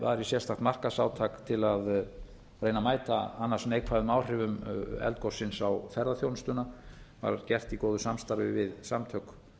sérstakt markaðsátak til að reyna að mæta annars neikvæðum áhrifum eldgossins á ferðaþjónustuna það var gert í góðu samstarfi við samtök